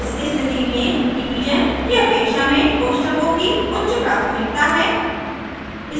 इस स्थिति में डिवीज़न स्लैश की अपेक्षा में कोष्ठकों की उच्च प्राथमिकता है